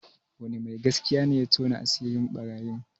Wani mai gaskiya ne ya tona asirin ɓarayin?